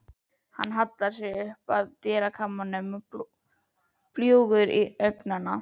Hann hallar sér upp að dyrakarminum, bljúgur til augnanna.